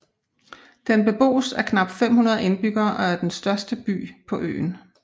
Den beboes af knap 500 indbyggere og er den største by på øen